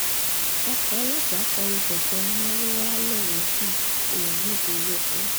ọkọ̀ ọlọ́pàá kọ lu kẹ̀kẹ́ marúwa ńlọrọsin èèyàn méje ló kù